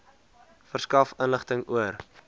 verskaf inligting oor